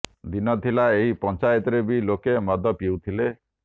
ଦିନ ଥିଲା ଏହି ପଞ୍ଚାୟତରେ ବି ଲୋକେ ମଦ ପିଉଥିଲେ